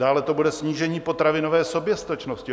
Dále to bude snížení potravinové soběstačnosti.